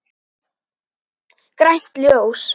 Grænt ljós.